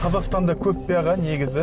қазақстанда көп пе аға негізі